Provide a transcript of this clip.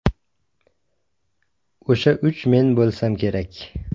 O‘sha uch men bo‘lsam kerak.